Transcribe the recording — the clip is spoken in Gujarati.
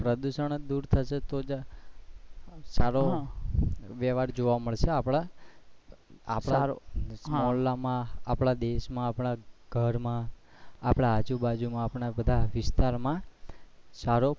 પ્રદુશન જ દૂર થશે તો જ સારો વયવહાર જોવા મળશે આપણે આપણા મોહલ્લા માં આપણા દેશ આપણા ઘર માં આપણા આજુ બાજુ માં આપણા વિસ્તાર માં સારો,